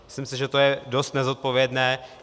Myslím si, že to je dost nezodpovědné.